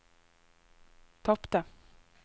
tapte